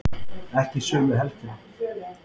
Ekki sömu helgina.